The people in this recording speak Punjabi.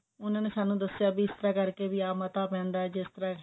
ਉਹਨਾਂ ਨੇ ਸਾਨੂੰ ਦਸਿਆ ਵੀ ਇਸ ਤਰ੍ਹਾਂ ਕਰਕੇ ਆਹ ਮਤਾ ਪੈਂਦਾ ਜਿਸ ਤਰ੍ਹਾਂ